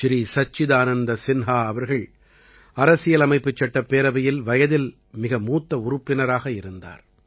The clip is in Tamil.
ஸ்ரீ சச்சிதானந்த சின்ஹா அவர்கள் அரசியலமைப்புச் சட்டப் பேரவையில் வயதில் மிக மூத்த உறுப்பினராக இருந்தார்